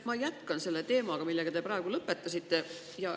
Ma jätkan selle teemaga, millega te praegu lõpetasite.